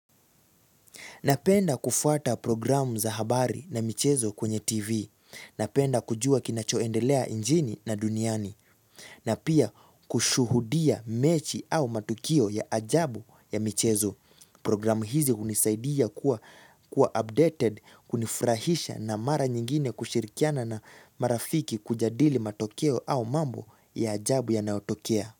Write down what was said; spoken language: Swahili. Napenda kufuata programu za habari na michezo kwenye TV. Napenda kujua kinachoendelea nchini na duniani. Na pia kushuhudia mechi au matukio ya ajabu ya michezo. Programu hizi hunisaidia kuwa updated, kunifurahisha na mara nyingine kushirikiana na marafiki kujadili matokeo au mambo ya ajabu yanayotokea.